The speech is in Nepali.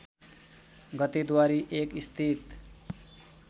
गते द्वारी १ स्थित